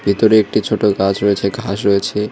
ভিতরে একটি ছোটো গাছ রয়েছে ঘাস রয়েছে।